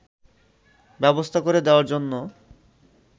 ব্যবস্থা করে দেওয়ার জন্য